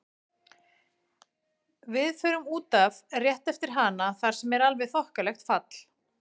Við förum út af rétt eftir hana þar sem er alveg þokkalegt fall.